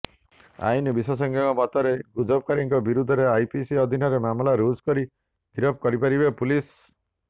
ଆଇନ ବିଶେଷଜ୍ଞଙ୍କ ମତରେ ଗୁଜବକାରୀଙ୍କ ବିରୋଧରେ ଆଇପିସି ଅଧିନରେ ମାମଲା ରୁଜୁ କରି ଗିରଫ କରିପାରିବେ ପୁଲିସ୍